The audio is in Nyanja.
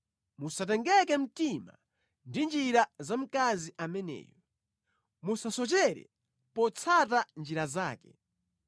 Musatengeke mtima ndi njira za mkazi ameneyu; musasochere potsata njira zake.